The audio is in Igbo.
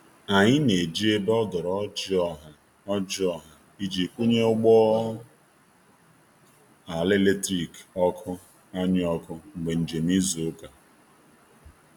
anyi n'eji ebe odori ojịị ọha ojịị ọha iji kwunye ụgbọ ala eletrikị (ọkụ)anyi oku mgbe njem izu uka